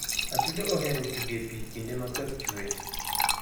Atudo ohero tug e pi kinde ma koth chwe.